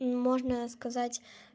ну можно сказать